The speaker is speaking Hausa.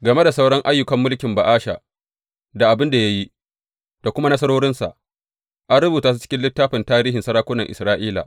Game da sauran ayyukan mulkin Ba’asha, abin da ya yi, da kuma nasarorinsa, an rubuta su cikin littafin tarihin sarakunan Isra’ila.